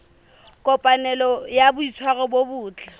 kopanelo ya boitshwaro bo botle